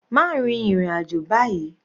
Má rin ìrìn àjò báyìí.